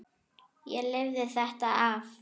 Lifi ég þetta af?